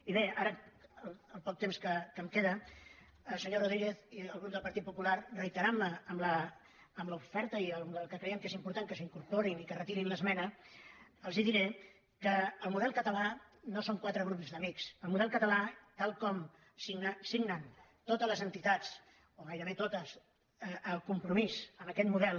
i bé ara el poc temps que em queda senyor rodríguez i el grup del partit popular reiterant me en l’oferta i que creiem que és important que s’hi incorporin i que retirin l’esmena els diré que el model català no són quatre grups d’amics el model català tal com signen totes les entitats o gairebé totes el compromís amb aquest model